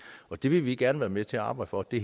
og det vil vi gerne være med til at arbejde for det